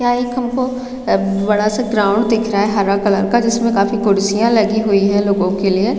यहाँ एक हमको बड़ा- सा ग्राउंड दिख रहा है हरा कलर का जिसमें काफी कुर्सियाँ लगी हुई है लोगों के लिए --